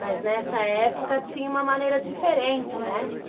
Mas nessa época tinha uma maneira diferente, né?